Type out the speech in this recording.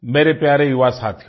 मेरे प्यारे युवा साथियो